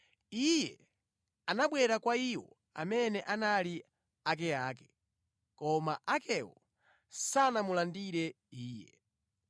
Iye anabwera kwa iwo amene anali akeake, koma akewo sanamulandire Iye.